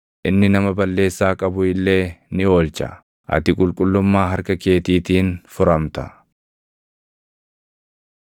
Inni nama balleessaa qabu illee ni oolcha; ati qulqullummaa harka keetiitiin furamta.”